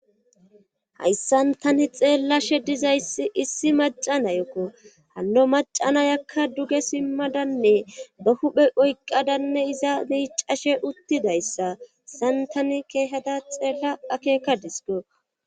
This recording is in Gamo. Hayssan tani xeellashe ddizayssi issi macanayekko hanno macanayakka duge simmadanne ba huphe oyqqadanne iza miicashe uttidayssa san tani keehada xeella akeka disko.